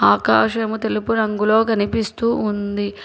ఆకాశము తెలుపు రంగులో కనిపిస్తూ ఉంది.